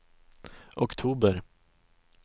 oktober